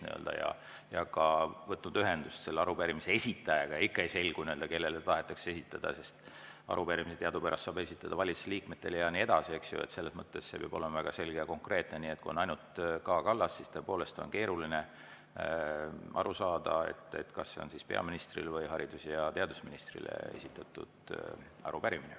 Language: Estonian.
Kui ollakse ka võtnud ühendust selle arupärimise esitajaga, aga ikka ei selgu, kellele tahetakse esitada – arupärimisi teadupärast saab esitada valitsuse liikmetele ja nii edasi, eks ju, selles mõttes see peab olema väga selge ja konkreetne –, et kui on ainult "K. Kallas", siis tõepoolest on keeruline aru saada, kas see on peaministrile või haridus‑ ja teadusministrile esitatud arupärimine.